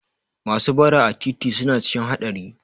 Masu bara a titi suna cikin haɗari